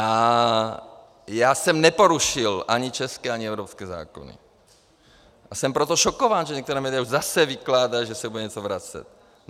A já jsem neporušil ani české, ani evropské zákony, a jsem proto šokován, že některá média už zase vykládají, že se bude něco vracet.